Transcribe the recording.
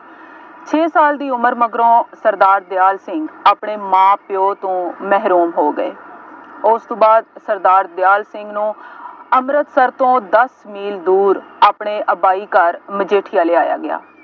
ਛੇ ਸਾਲ ਦੀ ਉਮਰ ਮਗਰੋਂ ਸਰਦਾਰ ਦਿਆਲ ਸਿੰਘ ਆਪਣੇ ਮਾਂ ਪਿਉ ਤੋਂ ਮਹਿਰੂਮ ਹੋ ਗਏ। ਉਸ ਤੋਂ ਬਾਅਦ ਸਰਦਾਰ ਦਿਆਲ ਸਿੰਘ ਨੂੰ ਅੰੰਮ੍ਰਿਤਸਰ ਤੋਂ ਦੱਸ ਮੀਲ ਦੂਰ ਆਪਣੇ ਅੱਬਾਈ ਘਰ ਮਜੀਠੀਆਂ ਲਿਆਇਆ ਗਿਆ।